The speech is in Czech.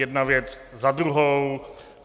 Jedna věc za druhou.